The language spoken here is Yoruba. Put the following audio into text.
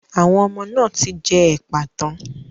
Àwọn ọmọ náà ti jẹ ẹ̀pà tán.